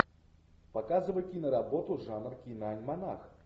показывай киноработу жанр киноальманах